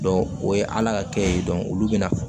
o ye ala ka kɛ ye olu bɛ na